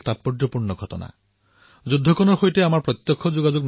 প্ৰকৃততে কবলৈ গলে সেই যুদ্ধৰ সৈতে আমাৰ কোনো সম্পৰ্ক নাছিল